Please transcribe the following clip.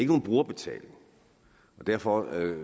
nogen brugerbetaling og derfor